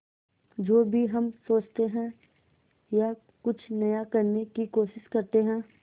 जो भी हम सोचते हैं या कुछ नया करने की कोशिश करते हैं